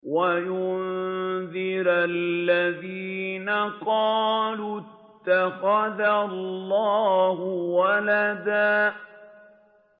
وَيُنذِرَ الَّذِينَ قَالُوا اتَّخَذَ اللَّهُ وَلَدًا